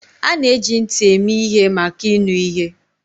A na-eji ntị eme ihe maka ịnụ ihe.